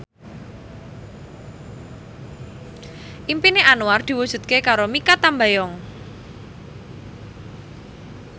impine Anwar diwujudke karo Mikha Tambayong